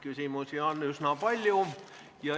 Küsimusi on üsna palju.